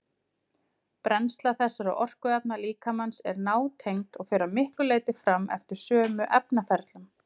Brennsla þessara orkuefna líkamans er nátengd og fer að miklu leyti fram eftir sömu efnaferlum.